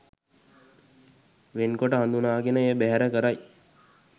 වෙන් කොට හඳුනාගෙන එය බැහැර කරයි.